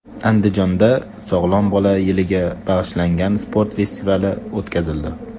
Andijonda Sog‘lom bola yiliga bag‘ishlangan sport festivali o‘tkazildi.